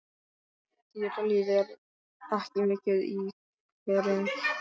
Dýralíf er ekki mikið í hverum hér á landi.